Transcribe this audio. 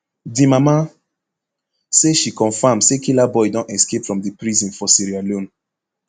di mama say she confam say killaboi don escape from di prison for sierra leone